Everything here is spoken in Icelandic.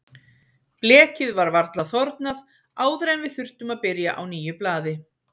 Blekið var varla þornað áður en við þurftum að byrja á nýju blaði.